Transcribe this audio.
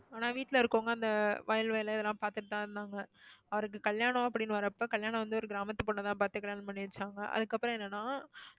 ஆனா வீட்டுல இருக்கறவங்க அந்த வயல் வேலை அதெல்லாம் பாத்துட்டு தான் இருந்தாங்க. அவருக்கு கல்யாணம் அப்படின்னு வர்றப்போ கல்யாணம் வந்து ஒரு கிராமத்து பொண்ண தான் பாத்து கல்யாணம் பண்ணி வச்சாங்க. அதுக்கப்புறம் என்னனா